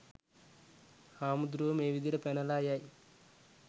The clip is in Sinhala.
හාමුදුරුවෝ මේ විදියට පැනලා යයි